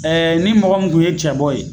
ni mɔgɔ kun ye cɛ bɔ ye